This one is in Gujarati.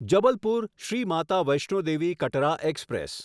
જબલપુર શ્રી માતા વૈષ્ણો દેવી કતરા એક્સપ્રેસ